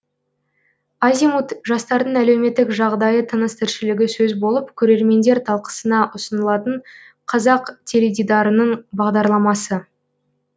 азимут жастардың әлеуметтік жағдайы тыныс тіршілігі сөз болып көрермендер талқысына ұсынылатын қазақ теледидарының бағдарламасы